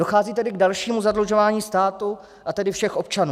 Dochází tedy k dalšímu zadlužování státu, a tedy všech občanů.